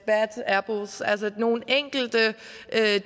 nogle enkelte